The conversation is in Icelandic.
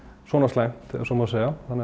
svona slæmt ef svo má segja